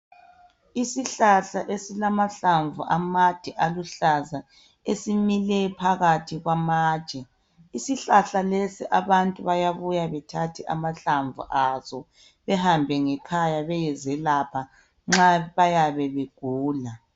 Isihlahla esilamahlamvu amade aluhlaza esimile phakathi kwamatshe isihlahla lesi abantu bayabuya bethathe amahlamvu aso behambe ngekhaya beyezelapha nxa bayabe begula.